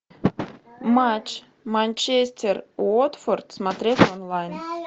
матч манчестер уотфорд смотреть онлайн